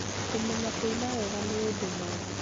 kũmenya kũina wega nĩ ũndũ mwega.